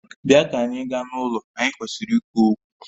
Bịa ka anyị gaa n'ụlọ, anyị kwesịrị ikwu okwu